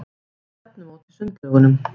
Ég á stefnumót í sundlaugunum.